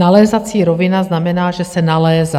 Nalézací rovina znamená, že se nalézá.